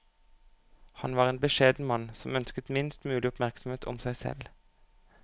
Han var en beskjeden mann som ønsket minst mulig oppmerksomhet om seg selv.